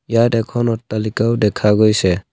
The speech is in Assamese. ইয়াত এখন অট্টালিকাও দেখা গৈছে।